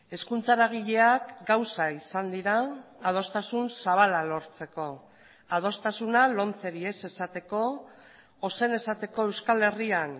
hezkuntza eragileak gauza izan dira adostasun zabala lortzeko adostasuna lomceri ez esateko ozen esateko euskal herrian